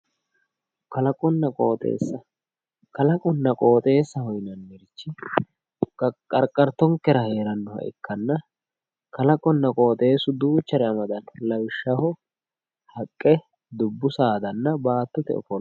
Kalaqonna qooxeessa, kalaqonna qooxeessaho yinannirichi qarqartonkera heernnoha ikkanna kalaqonna qooxeessu duuchare amadanno lawishshaho haqqe dubbu saadanna baattote ofolla.